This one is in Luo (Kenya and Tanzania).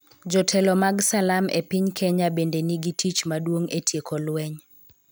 Jotelo mag Salam e piny Kenya bende nigi tich maduong' e tieko lweny.